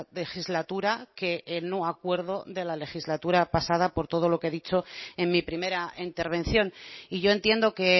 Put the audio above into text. legislatura que el no acuerdo de la legislatura pasada por todo lo que he dicho en mi primera intervención y yo entiendo que